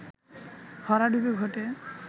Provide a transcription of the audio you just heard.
ভরাডুবি ঘটে